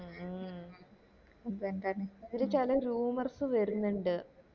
മ് ഇപ്പൊ എന്താണ് ഇത് പല rumours വരുന്നുണ്ട്